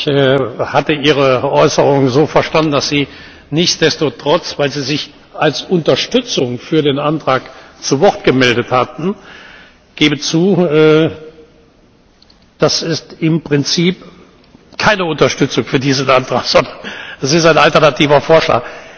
Ich hatte Ihre Äußerung so verstanden, dass Sie nichtsdestoweniger, weil Sie sich als Unterstützung für den Antrag zu Wort gemeldet hatten ich gebe zu, das ist im Prinzip keine Unterstützung für diesen Antrag, sondern das ist ein alternativer Vorschlag.